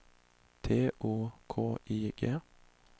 T O K I G